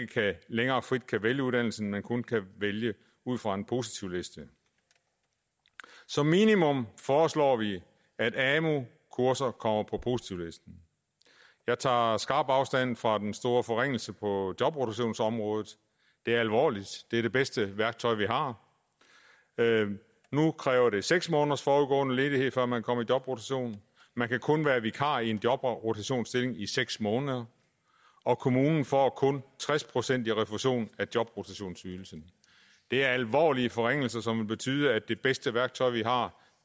længere frit kan vælge uddannelsen men kun kan vælge ud fra en positivliste som minimum foreslår vi at amu kurser kommer på positivlisten jeg tager skarpt afstand fra den store forringelse på jobrotationsområdet det er alvorligt det er det bedste værktøj vi har nu kræver det seks måneders forudgående ledighed før man kan komme i jobrotation man kan kun være vikar i en jobrotationsstilling i seks måneder og kommunen får kun tres procent i refusion af jobrotationsydelsen det er alvorlige forringelser som vil betyde at det bedste værktøj vi har